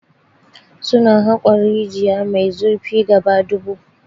Su na haƙon rijiya mai zurfin gaba dubu.